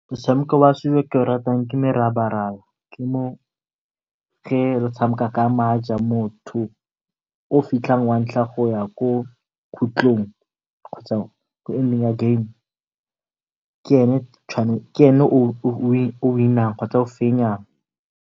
Motshameko wa setso o ke o ratang ke merabaraba ke mo ge re tshameka ka maje. Motho o fitlhang wa ntlha go ya ko khutlhong kgotsa kwa ya game ke ene o o win-ang kgotsa o fenyang.